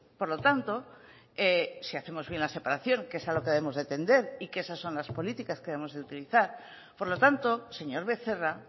por lo tanto si hacemos bien la separación que es a lo que debemos de tender y que esas son las políticas que debemos utilizar por lo tanto señor becerra